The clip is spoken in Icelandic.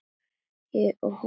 Ég og hún.